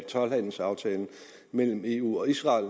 told handelsaftalen mellem eu og israel